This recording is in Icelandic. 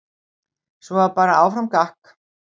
Svo var bara áfram gakk.